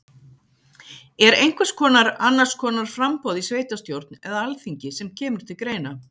Er einhvers konar annars konar framboð í sveitastjórn eða alþingi sem kemur til greina?